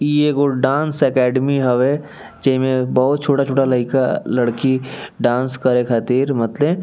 इ एगो dance academy हवे जे मे बहुत छोटा-छोटा लयका लड़की डांस करे खातिर मतले --